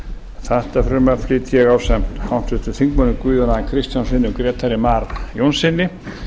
þetta frumvarp flyt ég ásamt háttvirtum þingmanni guðjóni a kristjánssyni og grétari mar jónssyni